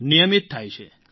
નિયમિત થાય છે